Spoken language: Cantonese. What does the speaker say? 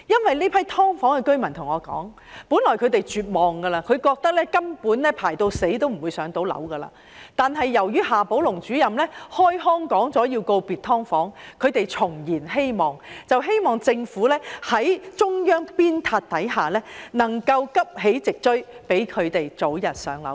這些"劏房"居民對我說，他們原本很絕望，覺得輪候到死之日也未必能"上樓"，但由於夏寶龍主任開腔說要告別"劏房"，令他們重燃希望，希望政府在中央的鞭撻下急起直追，讓他們早日"上樓"。